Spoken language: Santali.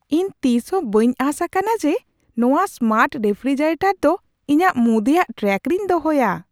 ᱤᱧ ᱛᱤᱥᱦᱚᱸ ᱵᱟᱹᱧ ᱟᱸᱥ ᱟᱠᱟᱱᱟ ᱡᱮ ᱱᱚᱣᱟ ᱥᱢᱟᱨᱴ ᱨᱮᱯᱷᱨᱤᱡᱟᱨᱮᱴᱚᱨ ᱫᱚ ᱤᱧᱟᱹᱜ ᱢᱩᱫᱤᱭᱟᱜ ᱴᱨᱟᱠ ᱨᱤᱧ ᱫᱚᱦᱚᱭᱟ ᱾